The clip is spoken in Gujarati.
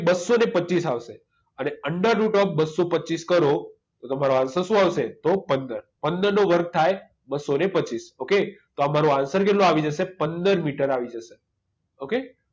બસો ને પચીસ આવશે અને under route of બસો પચીસ કરો તો તમારો answer શું આવશે તો પંદર પંદર નો વર્ગ થાય બસો ને પચીસ okay તમારો answer શું આવી જશે પંદર મીટર ok